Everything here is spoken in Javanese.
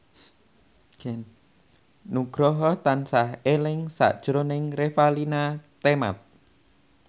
Nugroho tansah eling sakjroning Revalina Temat